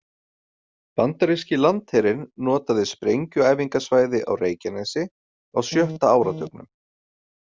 Bandaríski landherinn notaði sprengjuæfingasvæði á Reykjanesi á sjötta áratugnum.